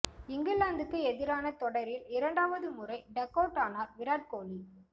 இங்கிலாந்துக்கு எதிரான தொடரில் இரண்டாவது முறை டக் அவுட் ஆனார் விராட் கோலி